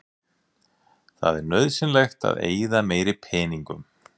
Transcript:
Það er nauðsynlegt að eyða meiri peningum.